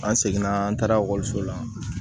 An seginna an taara ekɔliso la